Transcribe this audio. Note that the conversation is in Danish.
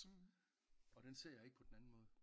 Og den ser jeg ikke på den anden måde